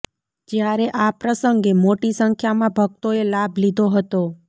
જ્યારે આ પ્રસંગે મોટી સંખ્યામાં ભક્તોએ લાભ લીધો હતો